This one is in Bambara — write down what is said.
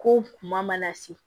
Ko kuma mana se